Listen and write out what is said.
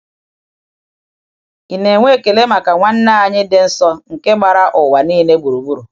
Ị na-enwe ekele maka nwanne anyị dị nsọ nke gbara ụwa niile gburugburu?